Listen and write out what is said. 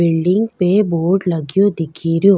Building पे board लागियो दिखेरो।